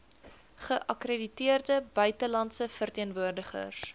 geakkrediteerde buitelandse verteenwoordigers